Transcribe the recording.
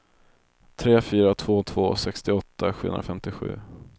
tre fyra två två sextioåtta sjuhundrafemtiosju